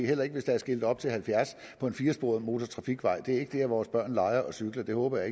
heller ikke hvis der er skiltet op til halvfjerds på en firesporet motortrafikvej det er ikke dér vores børn leger og cykler det håber